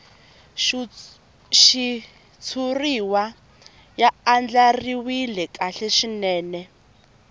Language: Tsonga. xitshuriwa ya andlariwile kahle swinene